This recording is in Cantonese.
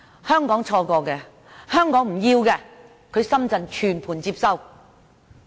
香港錯過的、香港不要的、深圳全盤接收。